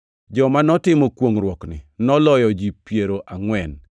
Joma notimo kwongʼruokni noloyo ji piero angʼwen.